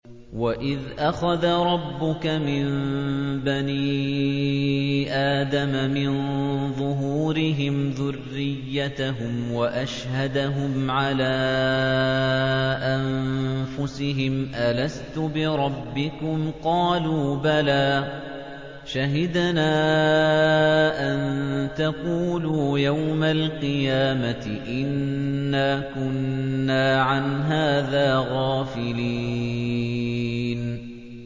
وَإِذْ أَخَذَ رَبُّكَ مِن بَنِي آدَمَ مِن ظُهُورِهِمْ ذُرِّيَّتَهُمْ وَأَشْهَدَهُمْ عَلَىٰ أَنفُسِهِمْ أَلَسْتُ بِرَبِّكُمْ ۖ قَالُوا بَلَىٰ ۛ شَهِدْنَا ۛ أَن تَقُولُوا يَوْمَ الْقِيَامَةِ إِنَّا كُنَّا عَنْ هَٰذَا غَافِلِينَ